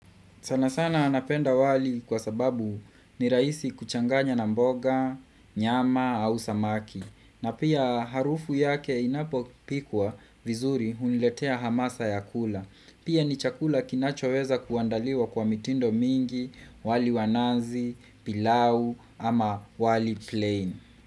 Sana sana napenda wali kwa sababu ni rahisi kuchanganya na mboga, nyama au samaki na pia harufu yake inapo pikwa vizuri huniletea hamasa ya kula Pia ni chakula kinachoweza kuandaliwa kwa mitindo mingi, wali wa nazi, pilau ama wali plane.